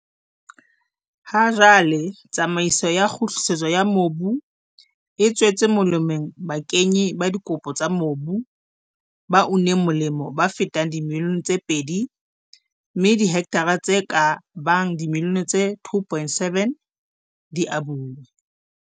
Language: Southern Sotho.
Ha jwale, tsamaiso ya kgutlisetso ya mobu e tswetse molemo bakenyi ba dikopo tsa mobu ba uneng molemo ba fetang dimilione tse pedi mme dihektara tse ka bang dimilione tse 2.7 di abuwe.